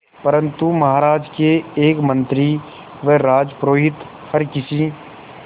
परंतु महाराज के एक मंत्री व राजपुरोहित हर किसी